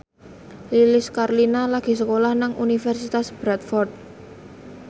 Lilis Karlina lagi sekolah nang Universitas Bradford